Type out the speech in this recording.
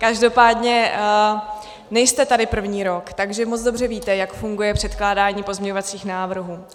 Každopádně nejste tady první rok, takže moc dobře víte, jak funguje předkládání pozměňovacích návrhů.